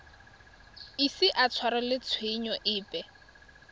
ise a tshwarelwe tshenyo epe